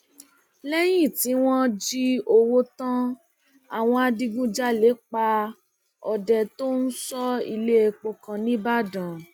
lẹyìn tí wọn jí owó tán àwọn adigunjalè pa ọdẹ tó ń sọ iléepo kan nìbàdàn